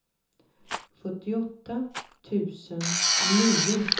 sjuttioåtta tusen nio